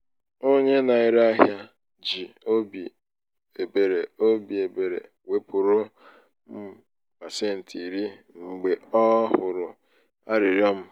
onye na-ere ahịa ji óbị ebere óbị ebere wepụrụ m pasenti iri mgbe ọ hụrụ arịrịọ m.